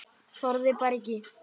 Þorði bara ekki.